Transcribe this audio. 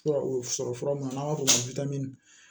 Fura o sɔrɔ fura mun n'an b'a fɔ o ma ko